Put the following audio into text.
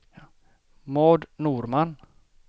Maud Norman